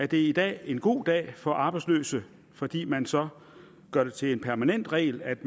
det i dag en god dag for de arbejdsløse fordi man så gør det til en permanent regel at